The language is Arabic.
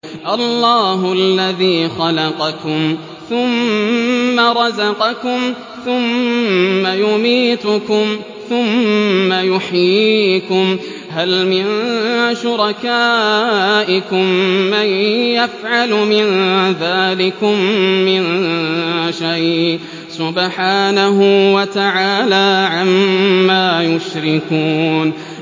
اللَّهُ الَّذِي خَلَقَكُمْ ثُمَّ رَزَقَكُمْ ثُمَّ يُمِيتُكُمْ ثُمَّ يُحْيِيكُمْ ۖ هَلْ مِن شُرَكَائِكُم مَّن يَفْعَلُ مِن ذَٰلِكُم مِّن شَيْءٍ ۚ سُبْحَانَهُ وَتَعَالَىٰ عَمَّا يُشْرِكُونَ